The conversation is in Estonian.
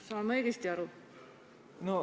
Saan ma õigesti aru?